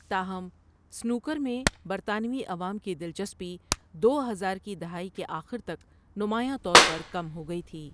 تاہم، سنوکر میں برطانوی عوام کی دلچسپی دو ہزار کی دہائی کے آخر تک نمایاں طور پر کم ہو گئی تھی۔